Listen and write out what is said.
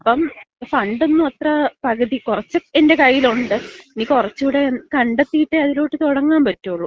ഇപ്പം ഫണ്ട് ഒന്നും അത്ര, പകുതി കൊറച്ച് എന്‍റെ കയ്യിലൊണ്ട്. ഇനി കൊറച്ചൂടെ കണ്ടെത്തിയിട്ടെ അതിലോട്ട് തുടങ്ങാമ്പറ്റോളൂ.